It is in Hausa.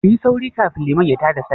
Kuyi sauri kafin liman ya ta da Sallah!